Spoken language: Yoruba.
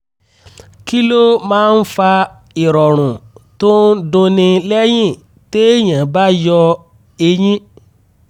kí ló máa ń fa ìrọ̀rùn tó ń dunni lẹ́yìn téèyàn bá yọ eyín?